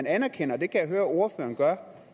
anerkender og det kan jeg høre ordføreren gør